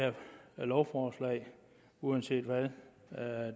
det her lovforslag uanset hvad